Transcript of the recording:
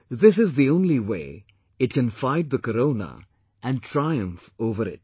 This is the only medium it possesses to fight the Corona and triumph over it